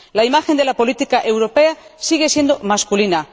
La imagen de la política europea sigue siendo masculina.